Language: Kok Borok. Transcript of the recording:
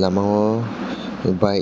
lama o bike.